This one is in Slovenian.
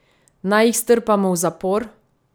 Naj jih strpamo v zapor?